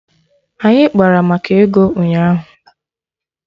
Anyị kpara maka ego ụnyaahụ